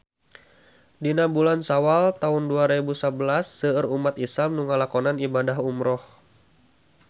Dina bulan Sawal taun dua rebu sabelas seueur umat islam nu ngalakonan ibadah umrah